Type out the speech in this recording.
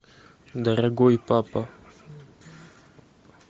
дорогой папа